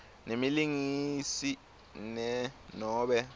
nemlingisi ne nobe